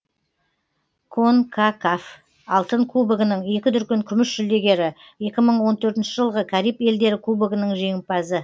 конкакаф алтын кубогының екі дүркін күміс жүлдегері екі мың он төртінші жылғы кариб елдері кубогының жеңімпазы